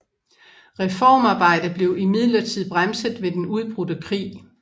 Reformarbejde blev imidlertid bremset ved den udbrudte krig